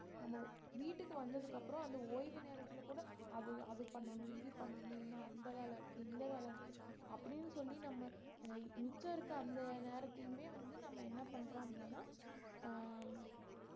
நம்ம வீட்டுக்கு வந்ததுக்கு அப்புறம் அந்த ஓய்வு நேரத்திலே கூட அது அது பண்ணணும் இது பண்ணணும் இன்னும் அந்த வேலை இருக்கு இந்த வேலை இருக்கு அப்படீன்னு சொல்லி நம்ம மிச்சம் இருக்கிற அந்த நேரத்தையுமே வந்து நம்ம என்ன பண்ணறோம் அப்படின்னா அஹ்